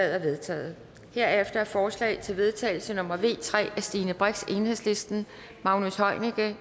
er vedtaget herefter er forslag til vedtagelse nummer v tre af stine brix magnus heunicke